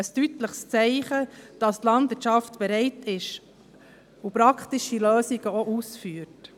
Das ist ein deutliches Zeichen dafür, dass die Landwirtschaft bereit ist und praktische Lösungen auch ausgeführt.